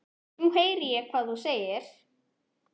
Nú heyri ég hvað þú segir.